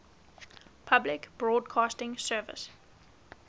public broadcasting service